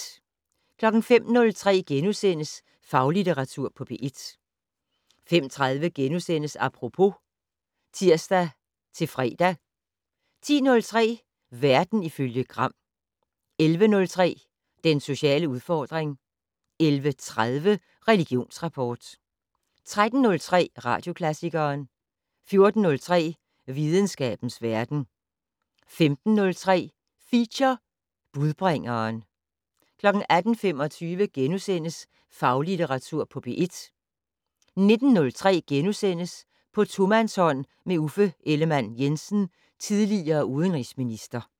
05:03: Faglitteratur på P1 * 05:30: Apropos *(tir-fre) 10:03: Verden ifølge Gram 11:03: Den sociale udfordring 11:30: Religionsrapport 13:03: Radioklassikeren 14:03: Videnskabens verden 15:03: Feature: Budbringeren 18:25: Faglitteratur på P1 * 19:03: På tomandshånd med Uffe Ellemann-Jensen, tidl. udenrigsminister *